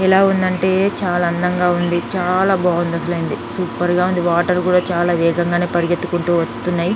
ఎలా ఉందంటే చాలా అందంగా ఉంది చాలా బాగుంది అసలండి సూపర్ గా ఉంది. వాటర్ కూడా చాలా వేగంగానే పరిగెత్తుకుంటూ వస్తున్నాయి.